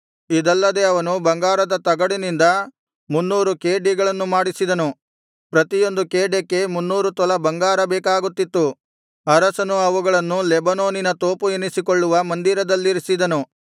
ಇದಲ್ಲದೆ ಅವನು ಬಂಗಾರದ ತಗಡಿನಿಂದ ಮುನ್ನೂರು ಖೇಡ್ಯಗಳನ್ನು ಮಾಡಿಸಿದನು ಪ್ರತಿಯೊಂದು ಖೇಡ್ಯಕ್ಕೆ ಮುನ್ನೂರು ತೊಲಾ ಬಂಗಾರ ಬೇಕಾಗುತ್ತಿತ್ತು ಅರಸನು ಇವುಗಳನ್ನು ಲೆಬನೋನಿನ ತೋಪು ಎನಿಸಿಕೊಳ್ಳುವ ಮಂದಿರದಲ್ಲಿರಿಸಿದನು